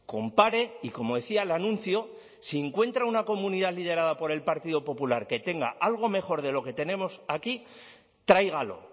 compare y como decía el anuncio si encuentra una comunidad liderada por el partido popular que tenga algo mejor de lo que tenemos aquí tráigalo